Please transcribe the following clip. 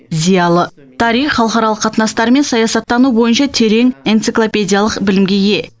зиялы тарих халықаралық қатынастар мен саясаттану бойынша терең энциклопедиялық білімге ие